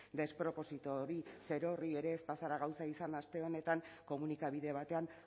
desproposito hori zerorri ere ez bazara gauza izan da aste honetan komunikabide batean